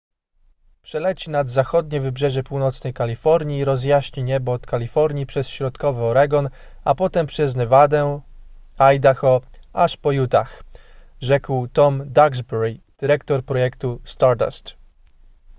przeleci nad zachodnie wybrzeże północnej kalifornii i rozjaśni niebo od kalifornii przez środkowy oregon a potem przez nevadę idaho aż po utah rzekł tom duxbury dyrektor projektu stardust